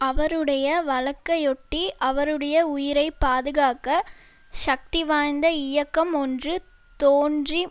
அவருடைய வழக்கையொட்டி அவருடைய உயிரை பாதுகாக்க சக்திவாய்ந்த இயக்கம் ஒன்று தோன்றி